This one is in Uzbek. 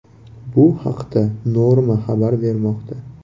Bu haqda Norma xabar bermoqda.